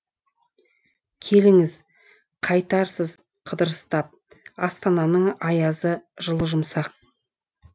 келіңіз қайтарсыз қыдырыстап астананың аязы жылы жұмсақ